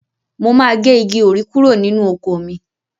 Mo máa gé igi òrí kúrò nínú oko mi